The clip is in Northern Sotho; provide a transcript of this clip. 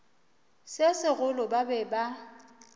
se segolo ba be ba